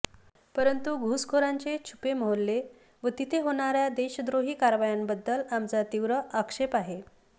परंतु घुसखोरांचे छुपे मोहल्ले व तिथे होणाऱ्या देशद्रोही कारवायांबद्दल आमचा तीव्र आक्षेप आहे